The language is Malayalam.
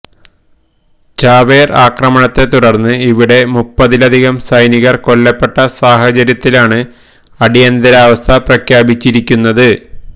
ചാവേര് ആക്രമണത്തെ തുടര്ന്ന് ഇവിടെ മുപ്പതിലധികം സൈനികര് കൊല്ലപ്പെട്ട സാഹചര്യത്തിലാണ് അടിയന്തരാവസ്ഥ പ്രഖ്യാപിച്ചിരിക്കുന്നത്